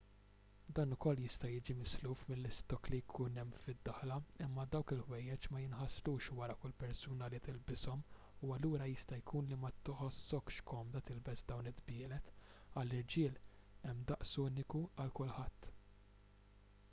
dan ukoll jista' jiġi misluf mill-istokk li jkun hemm fid-daħla imma dawk il-ħwejjeġ ma jinħaslux wara kull persuna li tilbishom u allura jista' jkun li ma tħossokx komda tilbes dawn id-dbielet għall-irġiel hemm daqs uniku għal kulħadd